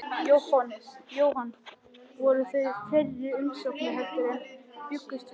Jóhann, voru þetta fleiri umsóknir heldur en menn bjuggust við?